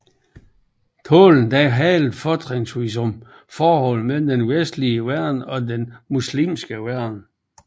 Talen handlede fortrinsvis om forholdet mellem den vestlige verden og den muslimske verden